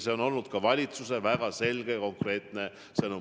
See on olnud ka valitsuse väga selge ja konkreetne sõnum.